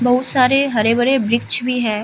बहुत सारे हरे-भरे वृक्ष भी है।